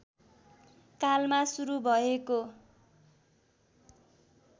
कालमा सुरु भएको